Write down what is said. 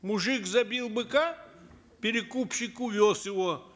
мужик забил быка перекупщик увез его